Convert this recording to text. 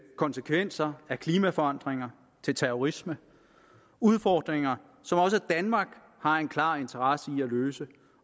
konsekvenser af klimaforandringer til terrorisme udfordringer som også danmark har en klar interesse i at løse